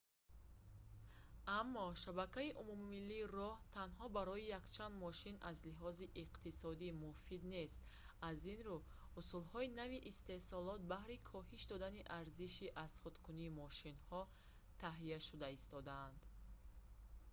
аммо шабакаи умумимиллии роҳ танҳо барои якчанд мошин аз лиҳози иқтисодӣ муфид нест аз ин рӯ усулҳои нави истеҳсолот баҳри коҳиш додани арзиши азхудкунии мошинҳо таҳия шуда истодаанд